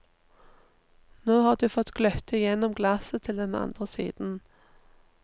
Nå har du fått gløtte igjennom glasset til den andre siden.